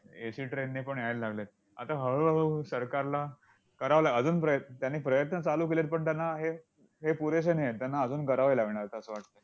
AC train नेपण यायला लागले आहेत. आता हळूहळू सरकारला करावं लाग अजून प्रय त्याने प्रयत्न चालू केलेत, पण त्यांना हे हे पुरेसे नाहीत. त्यांना अजून करावे लागणार, असं वाटतंय.